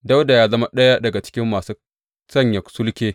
Dawuda ya zama ɗaya daga cikin masu sanya sulke.